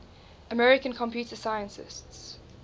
american computer scientists